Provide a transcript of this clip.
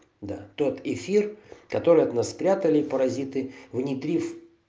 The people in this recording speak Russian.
да тот эфир который от нас спрятали паразиты внедрив